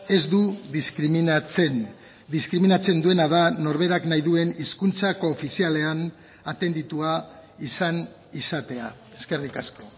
ez du diskriminatzen diskriminatzen duena da norberak nahi duen hizkuntza koofizialean atenditua izan izatea eskerrik asko